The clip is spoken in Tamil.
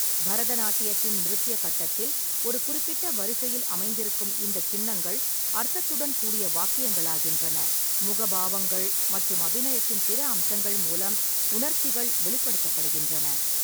பரதநாட்டியத்தின் நிருத்ய கட்டத்தில், ஒரு குறிப்பிட்ட வரிசையில் அமைந்திருக்கும் இந்த சின்னங்கள் அர்த்தத்துடன் கூடிய வாக்கியங்களாகின்றன, முகபாவங்கள் மற்றும் அபிநயத்தின் பிற அம்சங்கள் மூலம் உணர்ச்சிகள் வெளிப்படுத்தப்படுகின்றன.